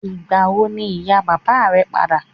Ìgbà wo ni ìyá bàbá rẹ̀ ń padà?